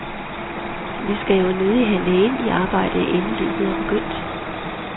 Vi skal jo nødig have lægen i arbejde inden løbet er begyndt.